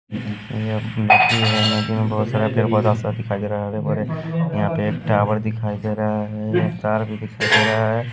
यहां पे एक टावर दिखाई दे रहा है तार भी दिखाई दे रहा है।